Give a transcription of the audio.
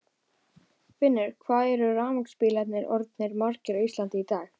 Finnur: Hvað eru rafmagnsbílar orðnir margir á Íslandi í dag?